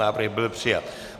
Návrh byl přijat.